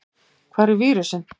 Hvar er vírusinn?